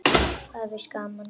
Og víst var það gaman.